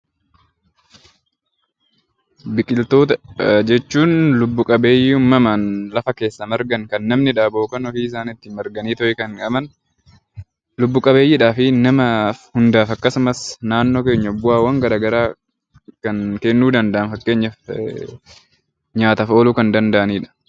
Biqiloota jechuun lubb-qabbeeyyii uumamaan kan namni dhaabu yookiin ofii isaanii lafa keessaa marganii kan argaman lubb-qabbeeyyii fi nama hundaaf akkasumas naannoo keenya bu'aawwan garaagaraa kan kennuu danda'an fakkeenyaaf nyaataaf ooluu kan danda'anidha